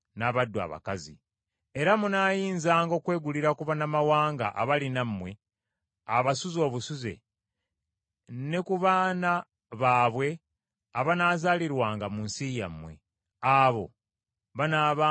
Era munaayinzanga okwegulira ku bannamawanga abali nammwe abasuze obusuze, ne ku baana baabwe abanaazaalirwanga mu nsi yammwe; abo banaabanga nvuma zammwe.